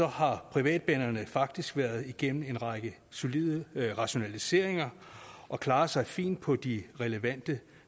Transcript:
har privatbanerne faktisk været igennem en række solide rationaliseringer og klarer sig fint på de relevante